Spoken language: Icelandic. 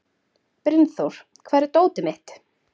Brynþór, hvar er dótið mitt?